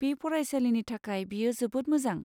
बे फरायसालिनि थाखाय बेयो जोबोद मोजां।